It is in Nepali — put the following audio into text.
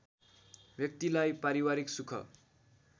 व्यक्तिलाई पारिवारिक सुख